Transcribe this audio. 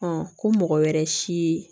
ko mɔgɔ wɛrɛ si